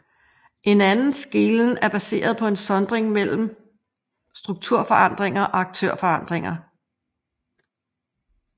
En anden skelnen er baseret på en sondring mellem strukturforklaringer og aktørforklaringer